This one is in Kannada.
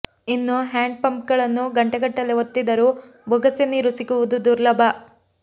ಇನ್ನು ಹ್ಯಾಂಡ್ ಪಂಪ್ಗಳನ್ನು ಗಂಟೆಗಟ್ಟಲೆ ಒತ್ತಿದರೂ ಬೊಗಸೆ ನೀರು ಸಿಗುವುದೂ ದುರ್ಲಭ